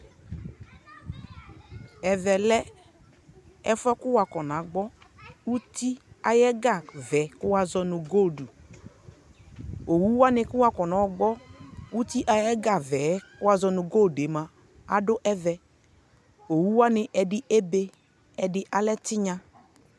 ɛvɛ lɛ ɛfʋɛ kʋ waƒɔna gbɔ ʋti ayɛ ɛga vɛɛ kʋ wazɔnʋ gold, ɔwʋ wani kʋ wa kɔnɔ gbɔ ʋti ayɛ ɛga vɛɛ kʋ wazɔnʋ goldɛ mʋa adʋ ɛvɛ, ɔwʋ wani ɛdi ɛbɛ ɛdi alɛ tinya